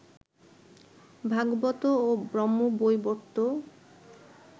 ভাগবত এবং ব্রহ্মবৈবর্ত